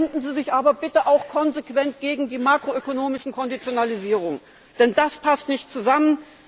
Dann wenden Sie sich aber bitte auch konsequent gegen die makroökonomischen Konditionalisierungen, denn das passt nicht zusammen.